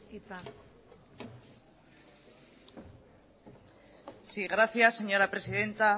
hitza sí gracias señora presidenta